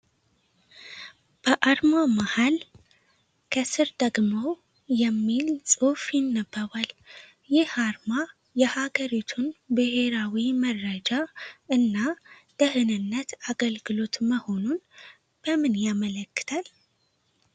በአርማው መሃል "NISS"፣ ከስር ደግሞ "NATIONAL INTELLIGENCE AND SECURITY SERVICE" የሚል ጽሑፍ ይነበባል። ይህ አርማ የአገሪቱን ብሔራዊ መረጃ እና ደህንነት አገልግሎት መሆኑ ምን ያመለክታል?